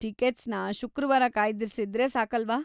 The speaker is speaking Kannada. ಟಿಕೆಟ್ಸ್‌ನ ಶುಕ್ರವಾರ ಕಾಯ್ದಿರಿಸಿದ್ರೆ ಸಾಕಲ್ವಾ?